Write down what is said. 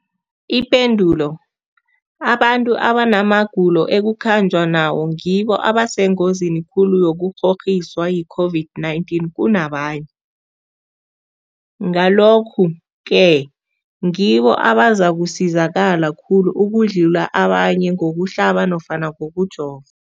Ipendulo, abantu abanamagulo ekukhanjwa nawo ngibo abasengozini khulu yokukghokghiswa yi-COVID-19 kunabanye, Ngalokhu-ke ngibo abazakusizakala khulu ukudlula abanye ngokuhlaba nofana ngokujova.